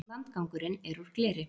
Landgangurinn er úr gleri.